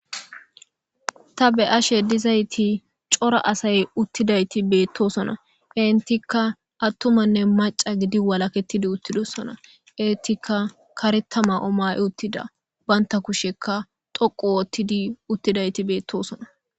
ta be ashe dizayti cora asay uttidayti beettosona intika attumanne maca gidi walakettidi uttidosona intika karetama omay uttida baynta kusheka toqu woottidi uttidayti beettosona